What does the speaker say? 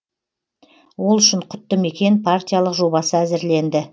ол үшін құтты мекен партиялық жобасы әзірленді